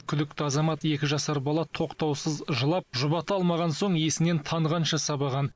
күдікті азамат екі жасар бала тоқтаусыз жылап жұбата алмаған соң есінен танғанша сабаған